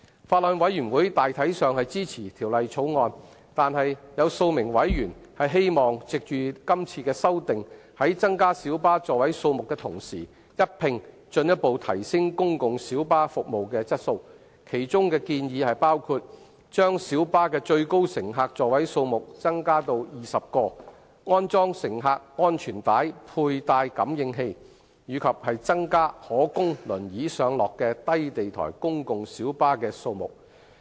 法案委員會大體上支持《條例草案》，但有數名委員希望藉着今次的修例，在增加小巴座位數目的同時，一併進一步提升公共小巴服務的質素，其中的建議包括：將小巴的最高乘客座位數目增加至20個、安裝乘客安全帶佩戴感應器，以及增加可供輪椅上落的低地台公共小巴的數目。